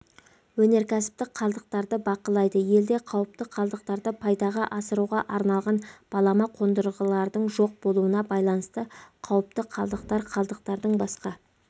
өнеркәсіптік қалдықтарды бақылайды елде қауіпті қалдықтарды пайдаға асыруға арналған балама қондырғылардың жоқ болуына байланысты қауіпті қалдықтар қалдықтардың басқа